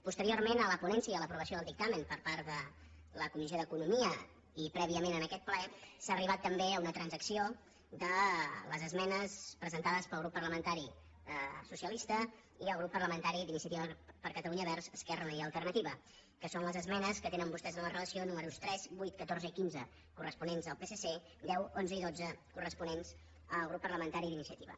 posteriorment a la ponència i a l’aprovació del dictamen per part de la comissió d’economia i prèviament a aquest ple s’ha arribat també a una transacció de les esmenes presentades pel grup parlamentari socialista i el grup parlamentari d’iniciativa per catalunya verds esquerra unida i alternativa que són les esmenes que tenen vostès en la relació números tres vuit catorze i quinze corresponents al psc deu onze i dotze corresponents al grup parlamentari d’iniciativa